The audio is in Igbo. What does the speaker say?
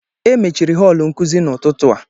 E mechiri họọlụ nkuzi n'ụtụtụ a